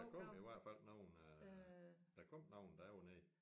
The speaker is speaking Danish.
Der kom i hvert fald nogen øh der kom nogen da jeg var nede